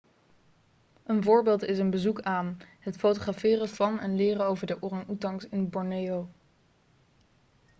een voorbeeld is een bezoek aan het fotograferen van en leren over de orang-oetangs in borneo